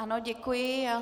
Ano, děkuji.